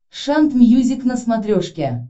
шант мьюзик на смотрешке